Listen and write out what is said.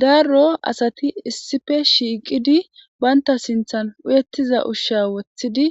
darro asati issippe shiiqidi baynta sinthan uyettiza ushsha wothidi